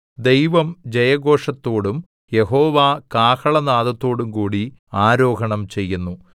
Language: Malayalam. ദൈവം ജയഘോഷത്തോടും യഹോവ കാഹളനാദത്തോടുംകൂടി ആരോഹണം ചെയ്യുന്നു